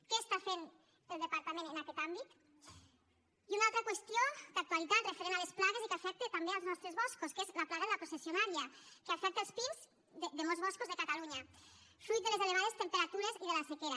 què està fent el departament en aquest àmbit i una altra qüestió d’actualitat referent a les plagues i que afecta també els nostres boscos que és la plaga de la processionària que afecta els pins de molts boscos de catalunya fruit de les elevades temperatures i de la sequera